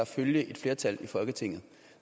følge et flertal i folketinget